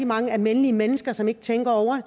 mange almindelige mennesker som ikke tænker over